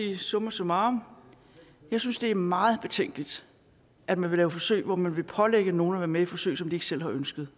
jeg summa summarum synes det er meget betænkeligt at man vil lave forsøg hvor man vil pålægge nogle at være med i forsøg som de ikke selv har ønsket